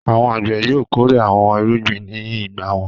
Àwọn àgbẹ̀ yóò kórè àwọn irúgbìn ní ìgbà wọn.